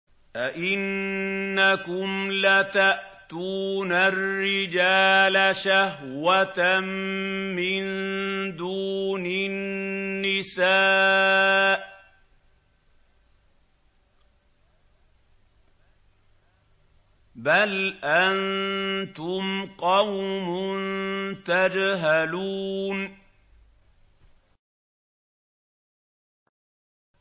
أَئِنَّكُمْ لَتَأْتُونَ الرِّجَالَ شَهْوَةً مِّن دُونِ النِّسَاءِ ۚ بَلْ أَنتُمْ قَوْمٌ تَجْهَلُونَ